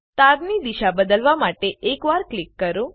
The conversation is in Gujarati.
તારની દિશા બદલવા માટે એક વાર ક્લિક કરો